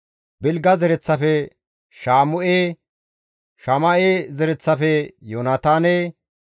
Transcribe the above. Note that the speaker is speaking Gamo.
Bilga zereththafe Shama7e, Shama7e zereththafe Yoonataane,